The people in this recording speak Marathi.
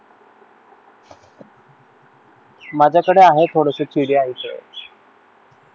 माझ्याकडे आहे थोडसं चिडिया च